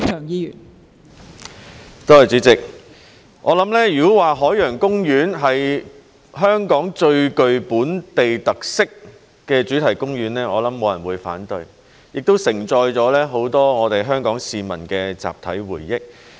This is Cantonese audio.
如果說海洋公園是香港最具本地特色的主題公園，我想沒有人會反對，它亦承載了很多我們香港市民的集體回憶。